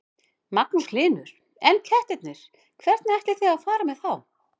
Magnús Hlynur: En kettirnir, hvernig ætlið þið að fara með þá?